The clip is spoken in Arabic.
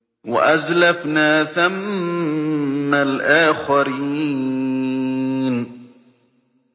وَأَزْلَفْنَا ثَمَّ الْآخَرِينَ